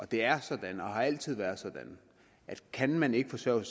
det er sådan og har altid været sådan at kan man ikke forsørge